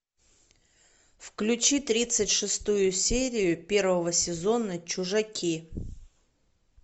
включи тридцать шестую серию первого сезона чужаки